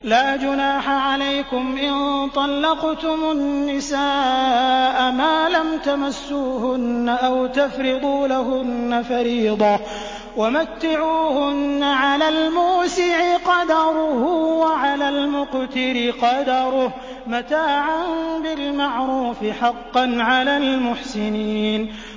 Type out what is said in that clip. لَّا جُنَاحَ عَلَيْكُمْ إِن طَلَّقْتُمُ النِّسَاءَ مَا لَمْ تَمَسُّوهُنَّ أَوْ تَفْرِضُوا لَهُنَّ فَرِيضَةً ۚ وَمَتِّعُوهُنَّ عَلَى الْمُوسِعِ قَدَرُهُ وَعَلَى الْمُقْتِرِ قَدَرُهُ مَتَاعًا بِالْمَعْرُوفِ ۖ حَقًّا عَلَى الْمُحْسِنِينَ